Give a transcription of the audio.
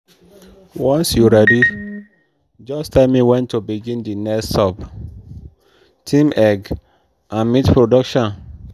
once you ready just tell me when to begin the next sub-theme egg and meat production.